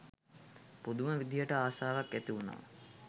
පුදුම විදිහට ආශාවක් ඇති වුණා